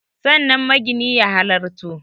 Sannan magini ya halarto